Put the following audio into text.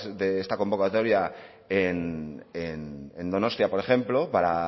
de esta convocatoria en donostia por ejemplo para